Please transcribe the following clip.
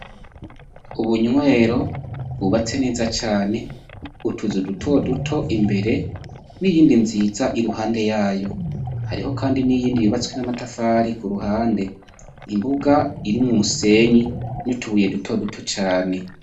Ubunywero bwubatse neza cane utuzu duto duto imbere n'iyindi nziza iruhande yayo hariho kandi n'iyindi yubatswe namatafari kuruhande imbuga irimwo umusenyi nutubuye duto duto cane.